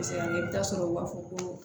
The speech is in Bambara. Kosɛbɛ i bɛ taa sɔrɔ u b'a fɔ ko